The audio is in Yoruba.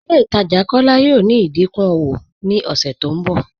Ilẹ̀ Itaajà Kọla yọọ ní ìdíkún ọwọ̀ ni ọṣẹ tó nbọ.